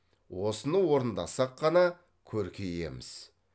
осыны орындасақ қана көркейеміз